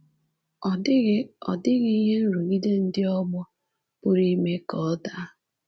Ọ dịghị Ọ dịghị ihe nrụgide ndị ọgbọ pụrụ ime ka ọ daa.